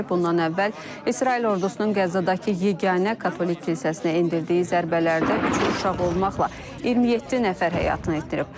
Bundan əvvəl İsrail ordusunun Qəzzadakı yeganə katolik kilsəsinə endirdiyi zərbələrdə üç uşaq olmaqla 27 nəfər həyatını itirib.